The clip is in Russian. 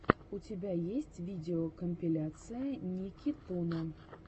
у тебя есть видеокомпиляция никитуна